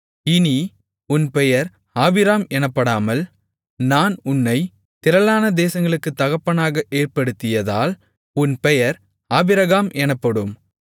இனி உன் பெயர் ஆபிராம் எனப்படாமல் நான் உன்னைத் திரளான தேசங்களுக்குத் தகப்பனாக ஏற்படுத்தியதால் உன் பெயர் ஆபிரகாம் எனப்படும்